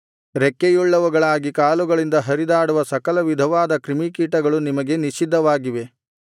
ರೆಕ್ಕೆಯುಳ್ಳವುಗಳಾಗಿ ಕಾಲುಗಳಿಂದ ಹರಿದಾಡುವ ಸಕಲವಿಧವಾದ ಕ್ರಿಮಿಕೀಟಗಳು ನಿಮಗೆ ನಿಷಿದ್ಧವಾಗಿವೆ